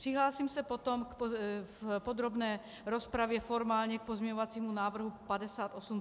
Přihlásím se potom v podrobné rozpravě formálně k pozměňovacímu návrhu 5838, který je nahrazuje.